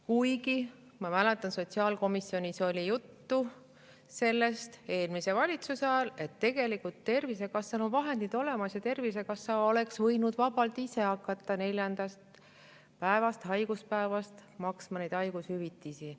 Kuigi, ma mäletan, sotsiaalkomisjonis oli juttu sellest eelmise valitsuse ajal, et tegelikult Tervisekassal on vahendid olemas ja Tervisekassa oleks võinud vabalt ise hakata neljandast haiguspäevast maksma haigushüvitisi.